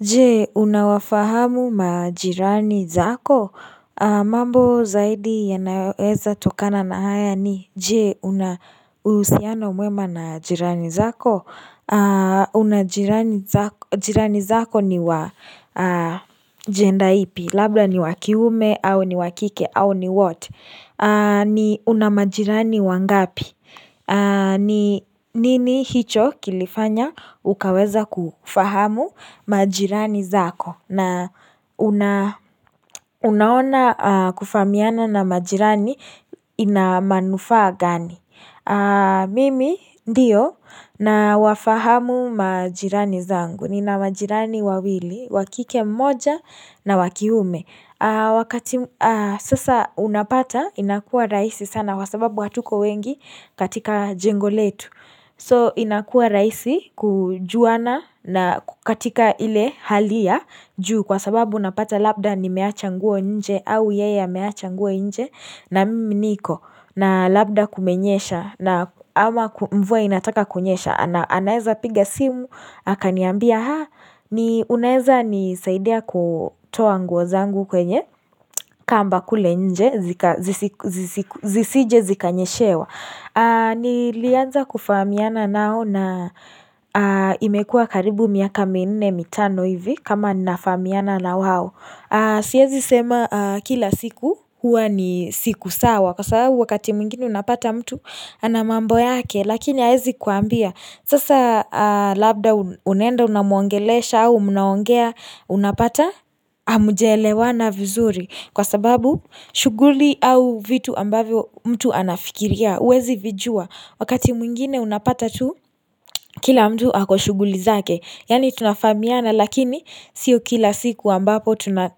Je, unawafahamu majirani zako? Mambo zaidi yanayoweza tokana na haya ni je, unauhusiano mwema na jirani zako? Jirani zako ni wa jenda ipi? Labla ni wakiume au ni wakike au ni what? Ni una majirani wangapi? Nini hicho kilifanya ukaweza kufahamu majirani zako na unaona kufahamiana na majirani inamanufaa gani? Mimi ndiyo nawafahamu majirani zangu. Nina majirani wawili, wakike mmoja na wakiume. Wakati, sasa unapata inakuwa rahisi sana kwa sababu hatuko wengi katika jengo letu so inakuwa rahisi kujuana na kukatika ile hali ya juu kwa sababu unapata labda nimeacha nguo nje au yeye ameacha nguo nje na mimi niko na labda kumenyesha na ama mvua inataka kunyesha anaeza piga simu, akaniambia haa, ni unaweza nisaidia kutoa nguo zangu kwenye kamba kule nje zisije zikanyeshewa. Nilianza kufahamiana nao na imekuwa karibu miaka minne mitano hivi kama ninafahamiana na wao. Siwezi sema kila siku huwa ni siku sawa kwa sababu wakati mwingine unapata mtu ana mambo yake lakini hawezi kuambia. Sasa labda unaenda unamwongelesha au mnaongea unapata hamjaelewana vizuri kwa sababu shughuli au vitu ambavyo mtu anafikiria huwezi vijua. Wakati mwingine unapata tu kila mtu ako shughuli zake. Yaani tunafahamiana lakini sio kila siku ambapo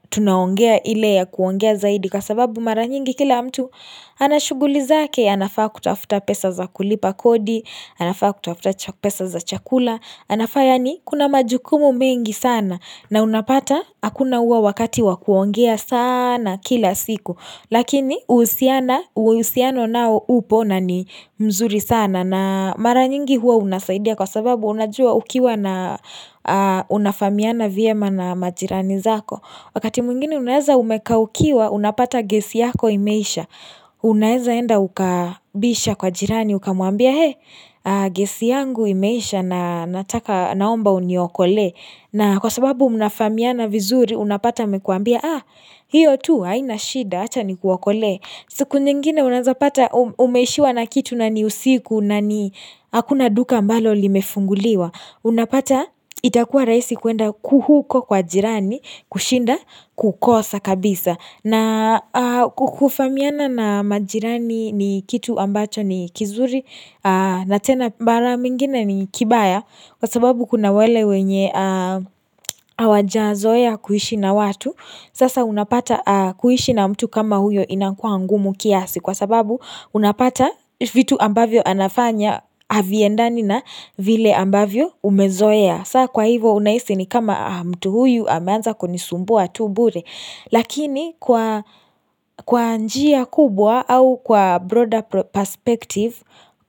tunaongea ile ya kuongea zaidi kwa sababu mara nyingi kila mtu ana shughuli zake. Anafaa kutafuta pesa za kulipa kodi, anafaa kutafuta pesa za chakula, anafaa yaani kuna majukumu mengi sana na unapata hakuna huo wakati wa kuongea sana kila siku lakini uhusiano nao upo na ni mzuri sana na mara nyingi huwa unasaidia kwa sababu unajua ukiwa na unafahamiana vyema na majirani zako wakati mwingine unaweza umekaukiwa unapata gesi yako imeisha Unaezaenda ukabisha kwa jirani, ukamuambia hey Gesi yangu imeisha na nataka naomba uniokolee na kwa sababu mnafahamiana vizuri unapata amekuambia Haa, hiyo tu haina shida, acha nikuokolee. Siku nyingine unawezapata umeishiwa na kitu na ni usiku na ni Hakuna duka ambalo limefunguliwa. Unapata itakuwa rahisi kuenda huko kwa jirani kushinda kukosa kabisa. Na kufamiana na majirani ni kitu ambacho ni kizuri na tena mara mwingine ni kibaya kwa sababu kuna wale wenye hawajazoea kuishi na watu. Sasa unapata kuishi na mtu kama huyo inakuwa ngumu kiasi kwa sababu unapata vitu ambavyo anafanya haviendani na vile ambavyo umezoea. Saa kwa hivyo unahisi ni kama mtu huyu ameanza kunisumbua tu bure. Lakini kwa njia kubwa au kwa broader perspective,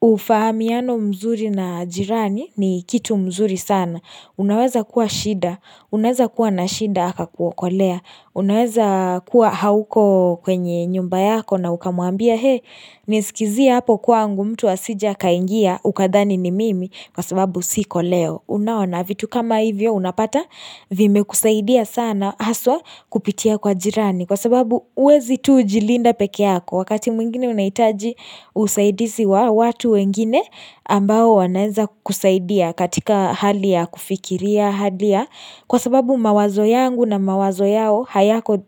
ufahamiano mzuri na jirani ni kitu mzuri sana. Unaweza kuwa shida, unaweza kuwa na shida akakuokolea. Unaweza kuwa hauko kwenye nyumba yako na ukamwambia hee, nisikizie hapo kwangu mtu asije akaingia ukadhani ni mimi kwa sababu siko leo. Unaona vitu kama hivyo unapata vimekusaidia sana haswa kupitia kwa jirani kwa sababu huwezi tu jilinda peke yako, wakati mwingine unahitaji usaidizi wa watu wengine ambao wanaweza kusaidia katika hali ya kufikiria hali ya, kwa sababu mawazo yangu na mawazo yao hayako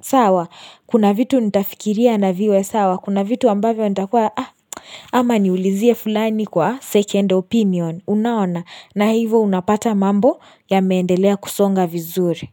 sawa, kuna vitu nitafikiria na viwe sawa kuna vitu ambavyo nitakuwa ama niulizie fulani kwa second opinion unaona na hivyo unapata mambo yameendelea kusonga vizuri.